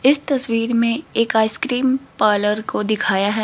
इस तस्वीर में एक आइसक्रीम पार्लर को दिखाया है।